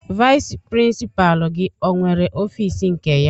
Vayis pirinsipaalu gị ọnwere ọfiisi nke ya?